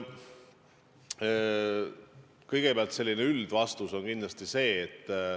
Kõigepealt selline üldvastus.